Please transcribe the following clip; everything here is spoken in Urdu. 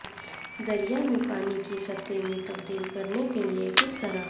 دریا میں پانی کی سطح میں تبدیل کرنے کے لئے کس طرح